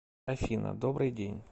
афина добрый день